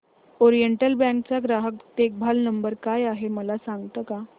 oriental bank चा ग्राहक देखभाल नंबर काय आहे मला सांगता का